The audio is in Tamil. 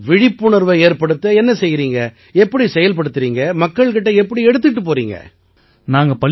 சரி விழிப்புணர்வை ஏற்படுத்த என்ன செய்யறீங்க எப்படி செயல்படுத்தறீங்க மக்கள் கிட்ட எப்படி எடுத்துக்கிட்டுப் போறீங்க